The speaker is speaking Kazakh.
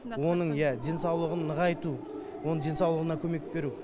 оның иә денсаулығын нығайту оның денсаулығына көмек беру